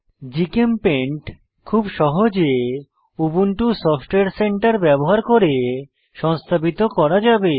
GChemPaint খুব সহজে Ubuntu software centre ব্যবহার করে সংস্থাপিত করা যাবে